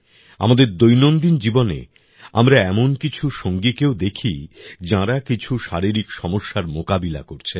আমাদের দৈনন্দিন জীবনে আমরা এমন কিছু সঙ্গীকেও দেখি যাঁরা কিছু শারীরিক সমস্যার মোকাবিলা করছেন